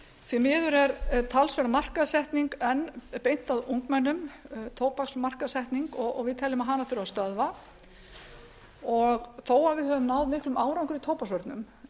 því miður er talsverð markaðssetning enn beint að ungmennum tóbaksmarkaðssetningu við teljum að hana þurfi að stöðva þó við höfum náð miklum árangri í tóbaksvörnum